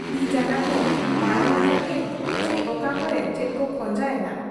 ᱛᱤ ᱡᱟᱝᱜᱟ ᱠᱚ ᱢᱟᱬᱟᱝ ᱞᱮᱠᱟ ᱜᱮ ᱪᱤ ᱚᱠᱟ ᱠᱚᱨᱮ ᱪᱮᱫ ᱠᱚ ᱠᱷᱚᱸᱡᱟ ᱮᱱᱟ ?